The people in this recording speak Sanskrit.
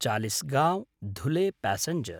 चालिस्गांव् धुले प्यासेञ्जर्